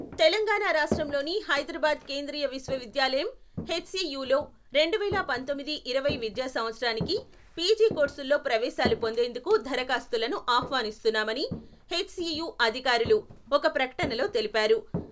తెలంగాణ రాష్ట్రంలోని హైదరాబాద్ కేంద్రీయ విశ్వవిద్యాలయం, హెచ్సీయూలో రెండువేల పంతొమ్మిది మరియు ఇరవై విద్యా సంవత్సరానికి పీజీ కోర్సుల్లో ప్రవేశాలు పొందేందుకు దరఖాస్తులను ఆహ్వానిస్తున్నామని హెచ్సీయూ అధికారులు ఒక ప్రకటనలో తెలిపారు.